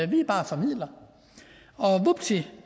vi er bare formidlere og vupti